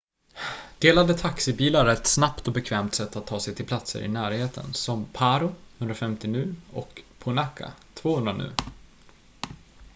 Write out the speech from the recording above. delade taxibilar är ett snabbt och bekvämt sätt att ta sig till platser i närheten som paro 150 nu och punakha 200 nu